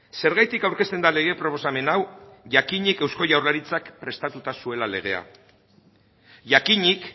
zergatik aurkezten da lege proposamen hau jakinik eusko jaurlaritzak prestatuta zuela legea jakinik